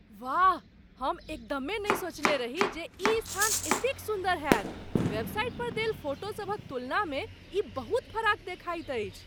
वाह! हम एकदमे नहि सोचने रही जे ई स्थान एतेक सुन्दर होएत। वेबसाइट पर देल फोटो सभक तुलनामे ई बहुत फराक देखाइत अछि।